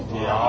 Gördünüz.